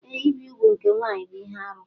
Ee, ibi úgwù nke nwanyị bụ ihe arụ.